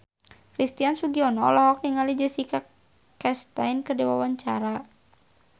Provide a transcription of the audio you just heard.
Christian Sugiono olohok ningali Jessica Chastain keur diwawancara